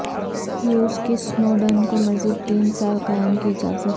روس کی سنوڈن کو مزید تین سال قیام کی اجازت